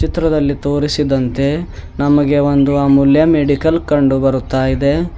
ಚಿತ್ರದಲ್ಲಿ ತೋರಿಸಿದಂತೆ ನಮಗೆ ಒಂದು ಅಮೂಲ್ಯ ಮೆಡಿಕಲ್ ಕಂಡು ಬರುತ್ತಾಇದೆ.